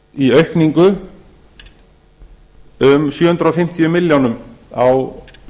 í aukningu um sjö hundruð fimmtíu milljónum á